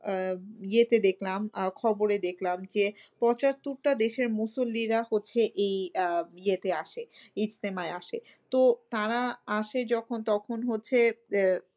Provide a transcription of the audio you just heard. আহ ইয়েতে দেখলাম খবরে দেখলাম যে পঁচাত্তর টা দেশের মুসলিরা এই আহ ইয়েতে আসে ইস্তেমায় আসে। তো তারা আসে যখন তখন হচ্ছে আহ